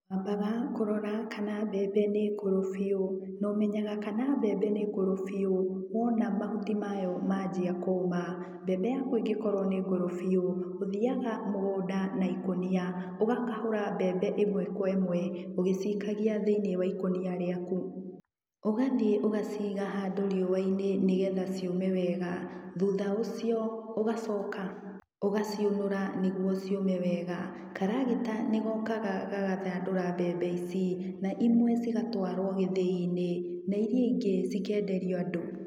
Wambaga kũrora kana mbembe nĩ ngũrũ biũ. Na ũmenyaga kana mbembe nĩ ngũrũ biũ, wona mahuti mayo maanjia kũũma. Mbembe yaku ĩngĩkorwo nĩ ngũrũ biũ, ũthiaga mũgũnda na ikũnia ũgakahũra mbembe ĩmwe kwa ĩmwe, ũgĩciikagia thĩiniĩ wa ikũnia rĩaku. Ũgathiĩ ũgaciiga handũ riũa-inĩ nĩgetha ciũme wega. Thutha ũcio, ũgacoka ũgaciũnũra nĩguo ciũme wega. Karagita nĩ gookaga gagathandũra mbembe ici, na imwe cigatwarwo gĩthĩi-inĩ, na iria ingĩ cikenderio andũ.